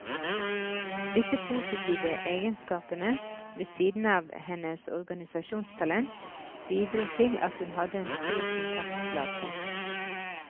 Disse positive egenskapene, ved siden av hennes organisasjonstalent, bidro til at hun hadde en stor kontaktflate.